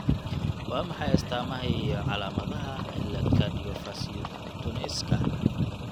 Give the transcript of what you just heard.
Waa maxay astaamaha iyo calaamadaha cillad Cardiofaciocutaneouska?